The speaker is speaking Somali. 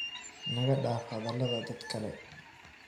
Nagadaaf hadaladha dhadhkale.